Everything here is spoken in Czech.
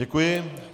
Děkuji.